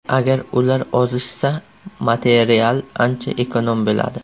Agar ular ozishsa material ancha ekonom bo‘ladi.